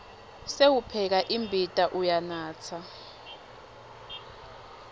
sewupheka imbita uyanatsa